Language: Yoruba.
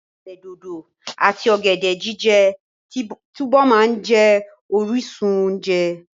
Ọ̀gẹ̀dẹ̀ dòdò àti ọ̀gẹ̀dẹ̀ jíjẹ túbọ̀ máa jẹ́ orísun oúnjẹ.